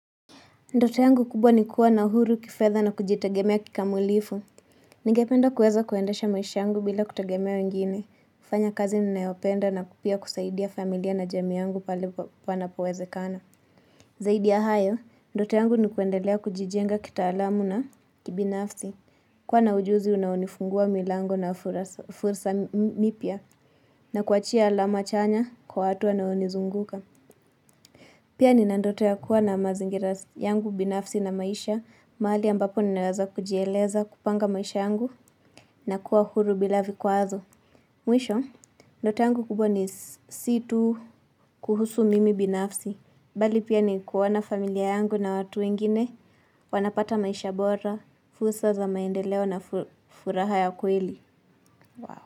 Ndoto yangu kubwa ni kuwa na uhuru kifedha na kujitegemea kikamilifu. Ningependa kuweza kuendasha maisha yangu bila kutegemea wengine. Kufanya kazi ninayopenda na pia kusaidia familia na jamii yangu pale panapowezekana. Zaidi ya hayo, ndoto yangu ni kuendelea kujijenga kitaalamu na kibinafsi. Kuwa na ujuzi unaonifungua milango na fursa mipya. Na kuachia alama chanya kwa watu wanaonizunguka. Pia nina ndoto ya kuwa na mazingira yangu binafsi na maisha, mahali ambapo ninaweza kujieleza kupanga maisha yangu na kuwa huru bila vikwazo. Mwisho, ndoto yangu kubwa si tuu kuhusu mimi binafsi, bali pia ni kuwaona familia yangu na watu wengine, wanapata maisha bora, fursa za maendeleo na furaha ya kweli.